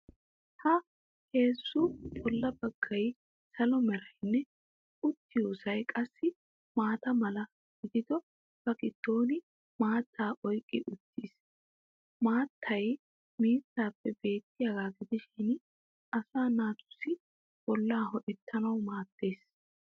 Ha heezzu bolla baggay salo meranne uttiyoosay qassi maata mala gidido ba giddon maattaa oyqqi uttis. Maattay miizzaappe beettiyaagaa gidishin asa naatussi bollaa ho'oyettawu maaddes.